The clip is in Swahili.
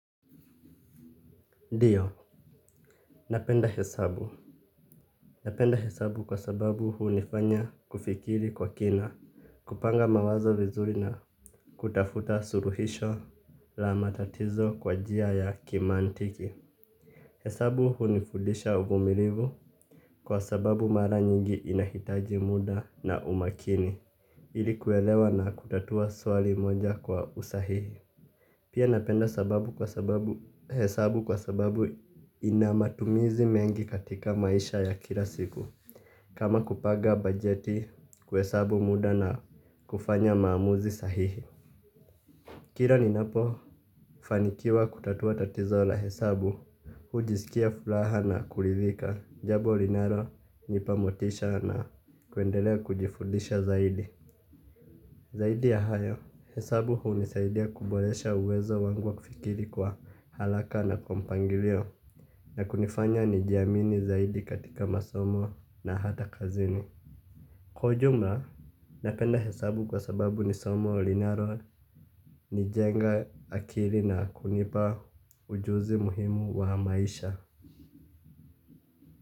Ndiyo, napenda hesabu, napenda hesabu kwa sababu hunifanya kufikiri kwa kina, kupanga mawazo vizuri na kutafuta suluhisho la matatizo kwa njia ya kimantiki. Hesabu hunifudisha uvumilivu kwa sababu mara nyingi inahitaji muda na umakini, ili kuelewa na kutatua swali moja kwa usahihi. Pia napenda hesabu kwa sababu inamatumizi mengi katika maisha ya kila siku. Kama kupanga bajeti kuhesabu muda na kufanya maamuzi sahihi kila ni napofanikiwa kutatua tatizo la hesabu hujisikia furaha na kurithika. Jambo linalonipa motisha na kuendelea kujifudisha zaidi. Zaidi ya hayo, hesabu hunisaidia kuboresha uwezo wangu wa kufikiri kwa haraka na kwa mpangilio na kunifanya nijiamini zaidi katika masomo na hata kazini. Kwa ujumla, napenda hesabu kwa sababu ni somo linalo nijenga akili na kunipa ujuzi muhimu wa maisha.